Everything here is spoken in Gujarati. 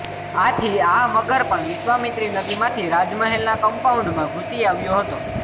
આથી આ મગર પણ વિશ્વામિત્રી નદીમાંથી રાજમહેલના કમ્પાઉન્ડમાં ઘૂસી આવ્યો હતો